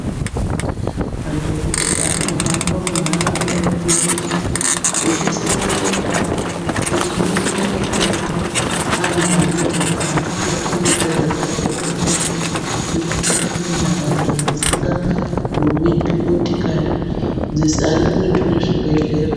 Madhokodhera anohamba munharaunda eifundisa achise matende awo echifundise nekurapa anhu anorwara anenge ari kunyika dzakasiyanasiyana dziri mukati mwenharaunda dzisingagumi motokari ari kuretu nezvibhehlera.